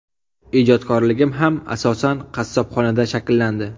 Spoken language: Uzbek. Ijodkorligim ham asosan qassobxonada shakllandi.